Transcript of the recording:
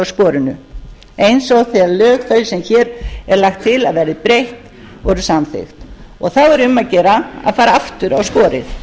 sporinu eins og þegar lög þau sem hér er lagt til að verði breytt voru samþykkt þá er um að gera að fara aftur á sporið